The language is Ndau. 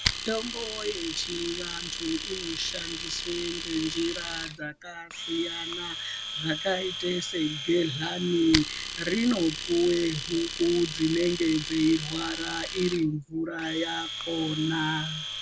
Mitombo yechivantu inoshandiswe ngenjira dzakasiyana. Zvakaite segedhlani rinopuwe huku dzinenge dzeirwara iri mvura yakona.